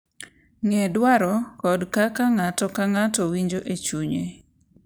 Ng’e dwaro kod kaka ng’ato ka ng’ato winjo e chunye,